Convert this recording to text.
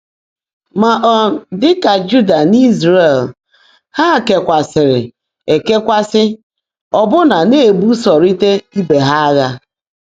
Mà, um ḍị́ kà Júudà nà Ị́zràẹ̀l, há kèwáàsị́rị́ èkèwáasị́, ọ́bụ́ná ná-èbúsọrị́tá íbè há ághã̀.